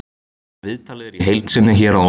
Viðtalið er í heild sinni hér að ofan.